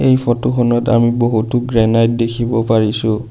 এই ফটোখনত আমি বহুতো গ্ৰেনাইট দেখিব পাৰিছোঁ।